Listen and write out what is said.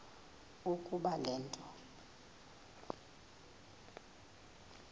ukuba le nto